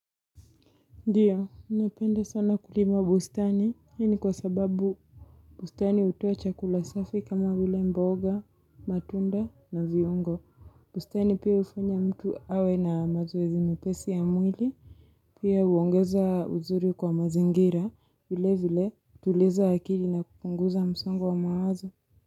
Ndiyo, napenda sana kulima bustani, hii kwa sababu bustani hutoa chakula safi kama vile mboga, matunda na viungo. Bustani pia hufanya mtu awe na mazoezi mepesi ya mwili. Pia huongeza uzuri kwa mazingira vile vile hutuliza akili na kupunguza msongo wa mawazo.